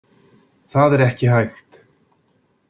Það er ekki hægt.